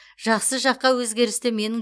жақсы жаққа өзгерісті менің